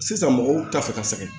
Sisan mɔgɔw t'a fɛ ka sɛgɛn